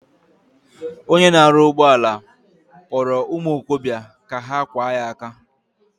Onye na aru ugboala kporo umuokobia ka ha kwa ya aka.